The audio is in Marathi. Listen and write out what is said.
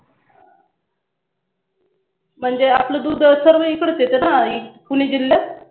म्हणजे आपलं दुध सर्व इकडेच येत ना आधी पुणे जिल्ह्यात